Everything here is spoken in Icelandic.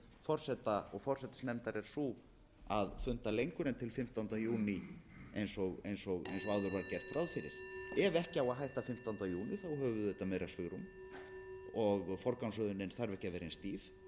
forseta og forsætisnefndar er sú að funda lengur en til fimmtánda júní eins og áður var gert ráð fyrir ef ekki á að hætta fimmtánda júní höfum við auðvitað meira svigrúm og forgangsröðunin þarf ekki að vera eins stíf